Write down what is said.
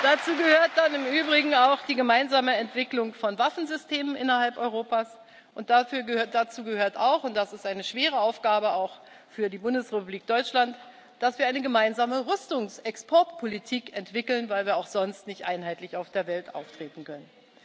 Dazu gehört dann im Übrigen auch die gemeinsame Entwicklung von Waffensystemen innerhalb Europas. Dazu gehört auch und das ist eine schwere Aufgabe, auch für die Bundesrepublik Deutschland dass wir eine gemeinsame Rüstungsexportpolitik entwickeln, weil wir auch sonst nicht einheitlich in der Welt auftreten können.